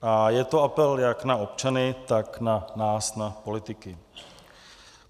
A je to apel jak na občany, tak na nás na politiky.